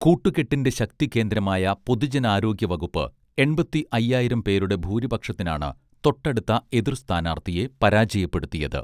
കൂട്ടുകെട്ടിന്റെ ശക്തികേന്ദ്രമായ പൊതുജനാരോഗ്യവകുപ്പ് എൺപത്തി അയ്യായിരം പേരുടെ ഭൂരിപക്ഷത്തിനാണ് തൊട്ടടുത്ത എതിർസ്ഥാനാർഥിയെ പരാജയപ്പെടുത്തിയത്